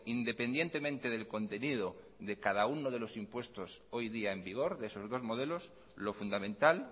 independientemente del contenido de cada uno de los impuestos hoy día en vigor de esos dos modelos lo fundamental